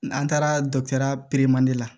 N' taara dɔgɔtɔrɔya pere man de la